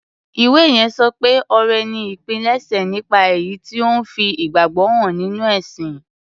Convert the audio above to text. Ìwé yẹn sọ pé ọrẹ ni ìpilẹ̀ṣẹ̀ nípa èyí tí ó ń fi ìgbàgbọ́ hàn nínú ẹ̀sìn.